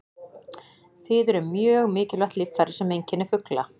Fiður er mjög mikilvægt líffæri sem einkennir fugla.